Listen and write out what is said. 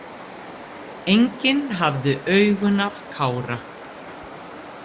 Enginn hafði augun af Kára.